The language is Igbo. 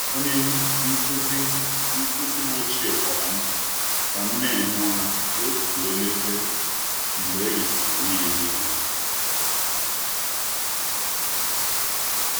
Onye nkụzi m ochie m ochie gwara m ka m na-ehi ụra otu elekere mgbe erisịrị nri ehihie.